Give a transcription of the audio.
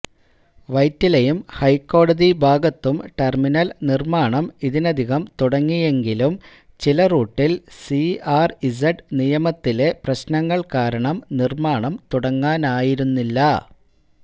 വൈറ്റിലയും ഹൈക്കോടതി ഭാഗത്തും ടെർമിനൽ നിർമ്മാണം ഇതിനകം തുടങ്ങിയെങ്കിലും ചില റൂട്ടിൽ സിആർഇസെഡ് നിയമത്തിലെ പ്രശനങ്ങൾ കാരണം നിർമ്മാണം തുടങ്ങാനായിരുന്നില്ല